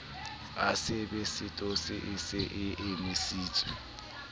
asebesetose e se e emisitse